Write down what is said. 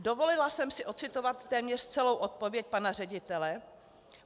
Dovolila jsem si ocitovat téměř celou odpověď pana ředitele.